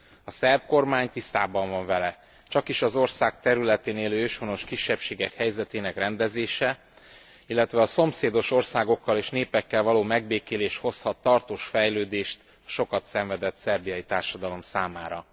A szerb kormány tisztában van vele, csakis az ország területén élő őshonos kisebbségek helyzetének rendezése, illetve a szomszédos országokkal és népekkel való megbékélés hozhat tartós fejlődést a sokat szenvedett szerbiai társadalom számára.